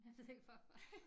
Jeg ved ikke hvorfor